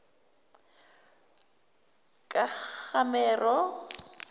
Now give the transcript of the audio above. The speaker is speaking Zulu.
kagamero